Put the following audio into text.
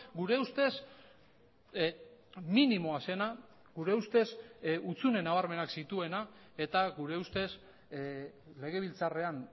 gure ustez minimoa zena gure ustez hutsune nabarmenak zituena eta gure ustez legebiltzarrean